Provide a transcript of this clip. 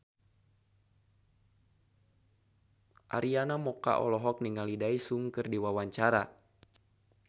Arina Mocca olohok ningali Daesung keur diwawancara